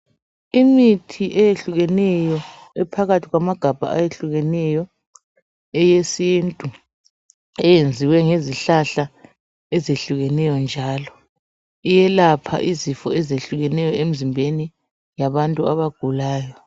Imithi eyehlukeneyo ephakathi kwamagabha ayehlukeneyo eyesintu eyenziwe ngezihlahla ezihlukeneyo njalo, iyelapha izifo ezihlukeneyo emzimbeni yabantu abagulayo.